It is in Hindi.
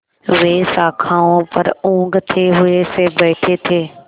वे शाखाओं पर ऊँघते हुए से बैठे थे